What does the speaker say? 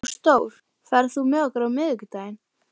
Ásdór, ferð þú með okkur á miðvikudaginn?